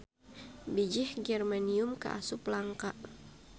Bijih germanium kaasup langka.